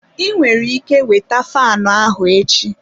Ị nwere ike weta faanụ ahụ echi.